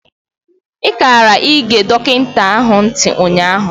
I kara ị ge dọkịta ahụ ntị ụnyaahụ.